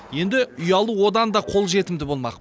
енді үй алу одан да қолжетімді болмақ